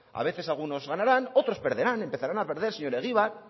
a veces algunos ganaran otros perderán empezaran a perder señor egibar